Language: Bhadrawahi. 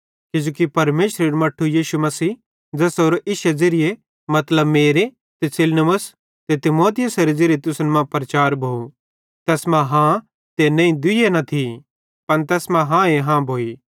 किजोकि परमेशरेरू मट्ठू यीशु मसीह ज़ेसेरो इश्शे ज़िरिये मतलब मेरे ते सिलवानुस ते तीमुथियुसेरे ज़िरिये तुसन मां प्रचार भोव तैस मां हाँ ते नईं दुइये न थी पन तैस मां हाँ ए हाँ भोइ